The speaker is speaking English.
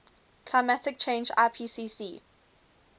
climate change ipcc